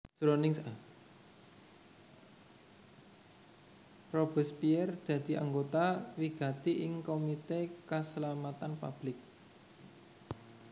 Robespierre dadi anggota wigati ing Komité Kaslametan Public